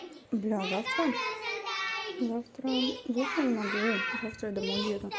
бля завтра завтра завтра не могу завтра я домой еду